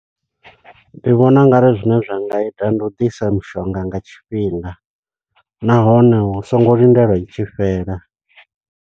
Ndi vhona ungari zwine zwa nga ita, ndi u ḓisa mushonga nga tshifhinga, nahone hu songo lindelwa i tshi fhela.